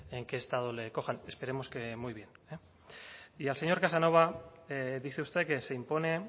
en qué estado le cojan esperemos que muy bien y al señor casanova dice usted que se impone